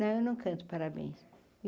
Não, eu não canto, parabéns.